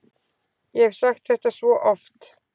Ég hef sagt þetta svo oft.